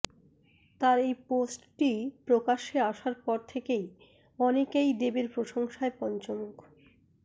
তার এই পোস্টটি প্রকাশ্যে আসার পর থেকেই অনেকেই দেবের প্রশংসায় পঞ্চমুখ